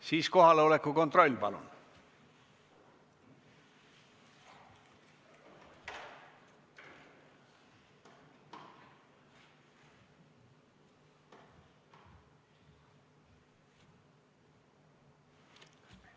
Siis teeme palun kohaloleku kontrolli!